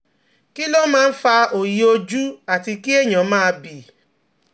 Kí ló máa ń fa òòyì ojú àti kí ènìyàn máa bì?